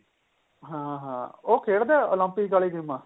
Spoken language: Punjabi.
ਹਾਂ ਹਾਂ ਉਹ ਖੇਡਦੇ Olympic ਵਾਲੀ ਗੇਮਾ